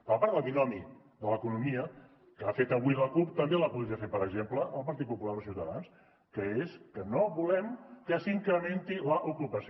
de la part del binomi de l’economia que ha fet avui la cup també el podria fer per exemple el partit popular o ciutadans que és que no volem que s’incrementi l’ocupació